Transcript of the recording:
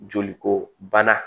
Joli ko bana